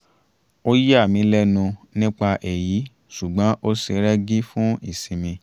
ó yà mí lẹ́nu nípa èyí ṣùgbọ́n ó ṣe rẹ́gí fún ìsinmi